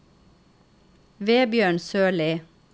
Vebjørn Sørli